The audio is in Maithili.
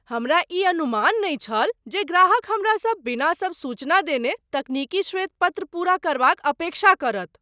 हमरा ई अनुमान नहि छल जे ग्राहक हमरासँ बिना सब सूचना देने तकनीकी श्वेत पत्र पूरा करबाक अपेक्षा करत।